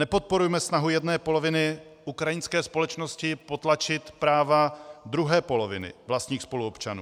Nepodporujme snahu jedné poloviny ukrajinské společnosti potlačit práva druhé poloviny vlastních spoluobčanů.